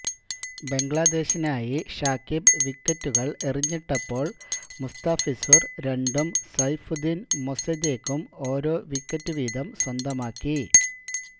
ബംഗ്ലാദേശിനായി ഷാക്കിബ് വിക്കറ്റുകൾ എറിഞ്ഞിട്ടപ്പോൾ മുസ്താഫിസുര് രണ്ടും സൈഫുദ്ധീനും മൊസദേക്കും ഓരോ വിക്കറ്റു വീതം സ്വന്തമാക്കി